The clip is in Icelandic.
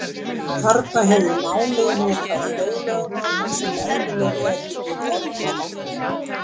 Þarna hefur málið notað hljóðlögmál sem eðlileg eru við orðmyndun.